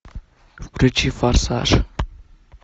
включи форсаж